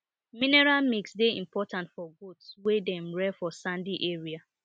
mineral mix dey important for goats wey dem rear for sandy areas